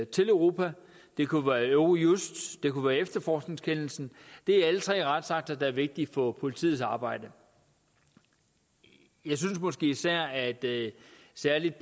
til europa det kunne være eurojust det kunne være efterforskningskendelsen det er alle tre retsakter der er vigtige for politiets arbejde jeg synes måske især at det